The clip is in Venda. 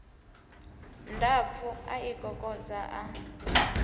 ndapfu a i kokodza a